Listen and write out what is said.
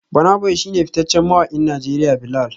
Burna boy shi ne fitaccen mawakin Najeriya Bilal